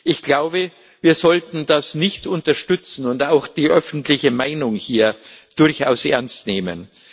Ich glaube, wir sollten das nicht unterstützen und auch die öffentliche Meinung hier durchaus ernst nehmen.